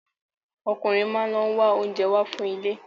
Ọkùnrin máa lọ ń wá oúnjẹ wá fún ilé.